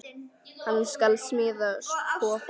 Hann skal smíða kofa.